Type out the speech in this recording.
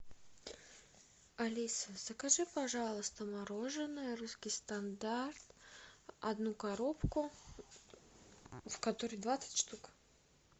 алиса закажи пожалуйста мороженое русский стандарт одну коробку в которой двадцать штук